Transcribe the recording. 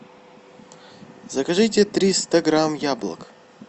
закажите триста грамм яблок